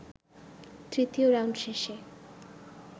তৃতীয় রাউন্ড শেষে